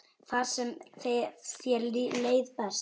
Þar sem þér leið best.